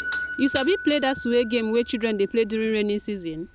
you sabi play dat suwe game wey children dey play during rainy season?